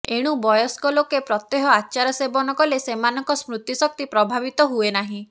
ଏଣୁ ବୟସ୍କ ଲୋକେ ପ୍ରତ୍ୟହ ଆଚାର ସେବନ କଲେ ସେମାନଙ୍କ ସ୍ମୃତି ଶକ୍ତି ପ୍ରଭାବିତ ହୁଏନାହିଁ